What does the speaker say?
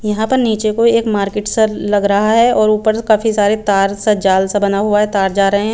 यहाँ पर निचे को एक मार्केट सा लग रहा है और ऊपर काफी सारे तार सा जाल सा बना हुआ है तार जा रहे है।